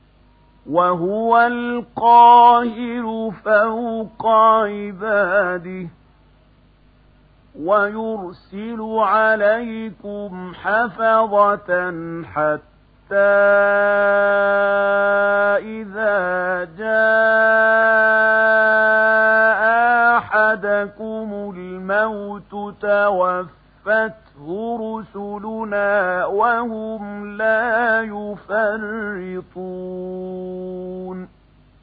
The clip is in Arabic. وَهُوَ الْقَاهِرُ فَوْقَ عِبَادِهِ ۖ وَيُرْسِلُ عَلَيْكُمْ حَفَظَةً حَتَّىٰ إِذَا جَاءَ أَحَدَكُمُ الْمَوْتُ تَوَفَّتْهُ رُسُلُنَا وَهُمْ لَا يُفَرِّطُونَ